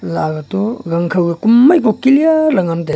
aga toh gangkhaw kumai ko clear le ngan taiga.